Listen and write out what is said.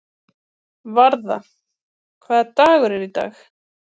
Varða, hvaða dagur er í dag?